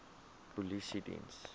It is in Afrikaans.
polisiediens